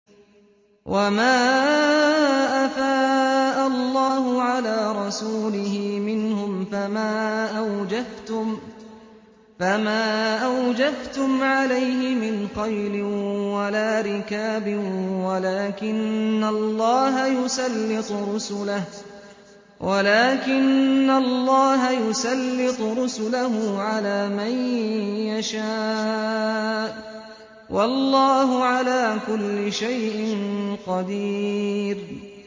وَمَا أَفَاءَ اللَّهُ عَلَىٰ رَسُولِهِ مِنْهُمْ فَمَا أَوْجَفْتُمْ عَلَيْهِ مِنْ خَيْلٍ وَلَا رِكَابٍ وَلَٰكِنَّ اللَّهَ يُسَلِّطُ رُسُلَهُ عَلَىٰ مَن يَشَاءُ ۚ وَاللَّهُ عَلَىٰ كُلِّ شَيْءٍ قَدِيرٌ